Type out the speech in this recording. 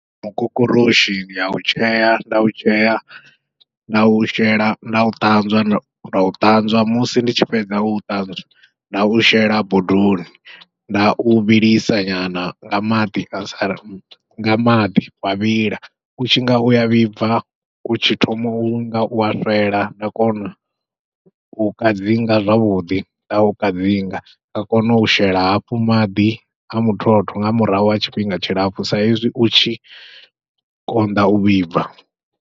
Mukokoroshi ndi au tshea nda u tshea ndau shela ndau ṱanzwa nda u ṱanzwa musi ndi tshi fhedza u ṱanzwa nda u shela bodoni, nda u vhilisa nyana nga maḓi asa nga maḓi wa vhila, utshi nga uya vhibva u tshi thoma unga ua fhela nda kona u kadzinga zwavhuḓi, nda u kadzinga nda kona u shela hafhu maḓi a muthotho nga murahu ha tshifhinga tshilapfhu sa ezwi u tshi konḓa u vhibva.